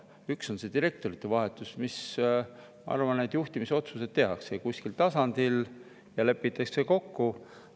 Üks asi on see direktorite vahetus – ma arvan, et juhtimisotsused tehakse kuskil tasandil ja lepitakse kokku.